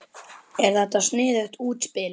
Er þetta sniðugt útspil?